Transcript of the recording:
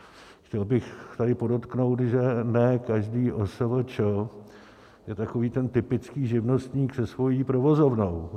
Chtěl bych tady podotknout, že ne každá OSVČ je takový ten typický živnostník se svou provozovnou.